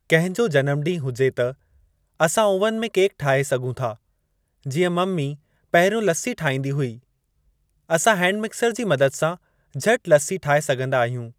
कंहिं जो जनम ॾींहुं हुजे त असां ओवन में केक ठाहे सघूं था जीअं मम्मी पहिरियों लस्सी ठाहींदी हुई। असां हैंड मिक्सर जी मदद सां झटि लस्सी ठाहे सघंदा आहियूं।